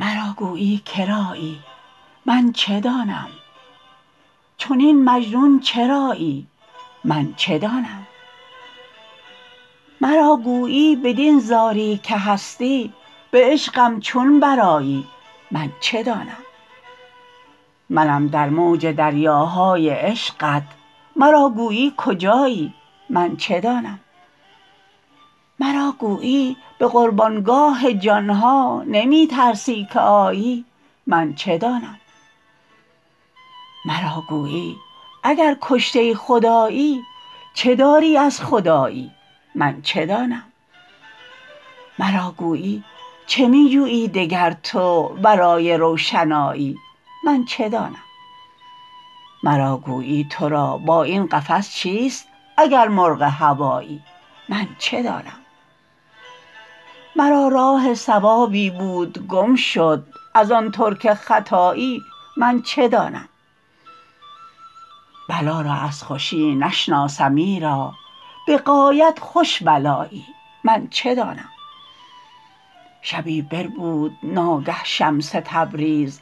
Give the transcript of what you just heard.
مرا گویی که رایی من چه دانم چنین مجنون چرایی من چه دانم مرا گویی بدین زاری که هستی به عشقم چون برآیی من چه دانم منم در موج دریاهای عشقت مرا گویی کجایی من چه دانم مرا گویی به قربان گاه جان ها نمی ترسی که آیی من چه دانم مرا گویی اگر کشته خدایی چه داری از خدایی من چه دانم مرا گویی چه می جویی دگر تو ورای روشنایی من چه دانم مرا گویی تو را با این قفس چیست اگر مرغ هوایی من چه دانم مرا راه صوابی بود گم شد ار آن ترک ختایی من چه دانم بلا را از خوشی نشناسم ایرا به غایت خوش بلایی من چه دانم شبی بربود ناگه شمس تبریز